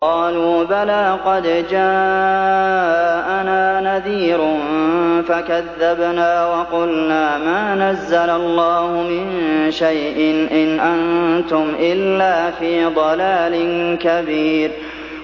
قَالُوا بَلَىٰ قَدْ جَاءَنَا نَذِيرٌ فَكَذَّبْنَا وَقُلْنَا مَا نَزَّلَ اللَّهُ مِن شَيْءٍ إِنْ أَنتُمْ إِلَّا فِي ضَلَالٍ كَبِيرٍ